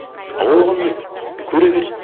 а ол оған ұнайды и көре берсін